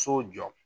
So jɔ